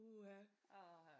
Uha